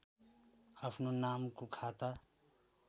आफ्नो नामको खाता